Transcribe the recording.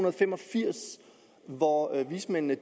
og fem og firs hvor vismændene